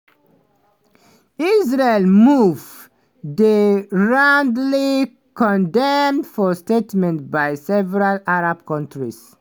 israel move dey roundly condemned for statements by several arab countries.